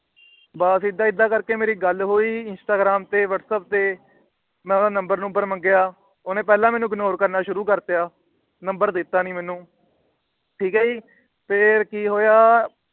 ਬਸ ਏਦਾਂ ਏਦਾਂ ਕਰਕੇ ਮੇਰੀ ਗੱਲ ਹੋਈ। Instagram ਤੇ Whatsapp ਤੇ ਮੈ ਉਹਦਾ ਨੰਬਰ ਨੁਮਬਰ ਮੰਗਿਆ। ਉਹਨੇ ਪਹਿਲਾ ਮੈਨੂੰ Ignore ਕਰਨਾ ਸ਼ੁਰੂ ਕਰਤਾ। ਨੰਬਰ ਦਿੱਤਾ ਨਹੀਂ ਮੈਨੂੰ। ਠੀਕ ਏ ਜੀ ਫੇਰ ਕੀ ਹੋਇਆ